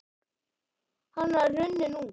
Hann var runninn út